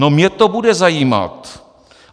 No mě to bude zajímat.